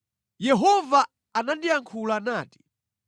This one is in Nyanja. Yehova anandiyankhula nati: